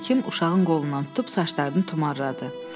Həkim uşağın qolundan tutub saçlarını tumarladı.